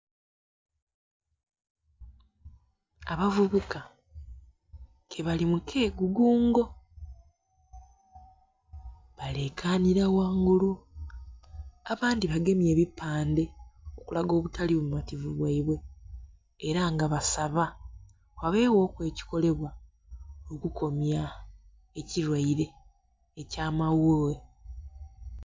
Abavubuka ke bali mu kegugungo balekanira ghangulu abandhi bagemye ebipandhe okulaga obutali bumativu bwaibwe era nga basaba ghabeghoku ekikolebwa okukomya ekilwaire ekya maghughe.